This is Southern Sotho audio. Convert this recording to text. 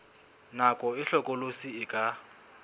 nako e hlokolosi e ka